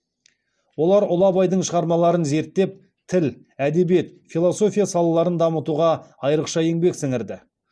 олар ұлы абайдың шығармаларын зерттеп тіл әдебиет философия салаларын дамытуға айрықша еңбек сіңірді